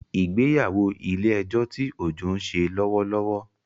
Ìgbéyàwó ilè ejó tí Ojo ń sele lówó lówó